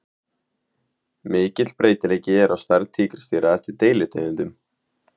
Mikill breytileiki er á stærð tígrisdýra eftir deilitegundum.